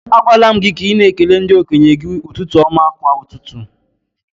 A gwaala m gị ka ị na ekele ndi-okenye gi ụtụtụ ọma kwa ụtụtụ